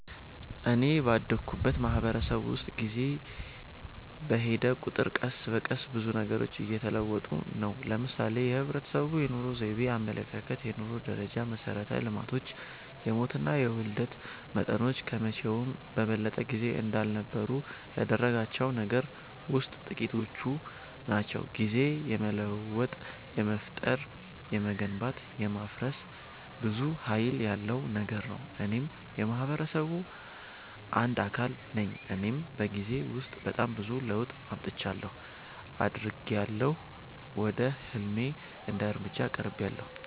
እኔ ባደኩበት ማህበረሰብ ውስጥ ጊዜ በሔደ ቁጥር ቀስ በቀስ ብዙ ነገሮች እየተለወጡ ነው። ለምሳሌ የህብረተሰቡ የኑሮ ዘይቤ፣ አመለካከት፣ የኑሮ ደረጃ፣ መሠረተ ልማቶች፣ የሞትና የውልደት መጠኖች ከመቼውም በበለጠ ጊዜ እንዳልነበሩ ያደረጋቸው ነገሮች ውሥጥ ጥቂቶቹ ናቸው። ጊዜ የመለወጥ፣ የመፍጠር፣ የመገንባት፣ የማፍረስ ብዙ ሀይል ያለው ነገር ነው። እኔም የማህበረሰቡ አንድ አካል ነኝ እኔም በጊዜ ውስጥ በጣም ብዙ ለውጥ አምጥቻለሁ። አድጊያለሁ፣ ወደ ህልሜ አንድ እርምጃ ቀርቤያለሁ።